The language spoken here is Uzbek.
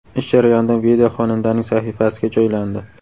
Ish jarayonidan video xonandaning sahifasiga joylandi.